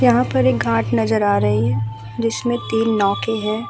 यहाँ पर एक घाट नजर आ रही जिसमे तीन नौके है।